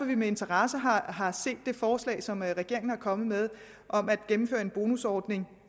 vi med interesse har har set det forslag som regeringen er kommet med om at gennemføre en bonusordning